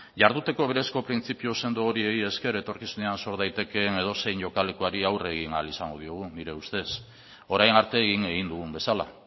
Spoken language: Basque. jarduteko berezko printzipio sendo horiek esker etorkizunean sor daitekeen edozein jokalekuari aurre egin ahal izango digu nire ustez orain arte egin egin dugun bezala